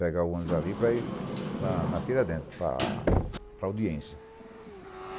Pegar o ônibus ali para ir na na Tira Adentro, para para a audiência.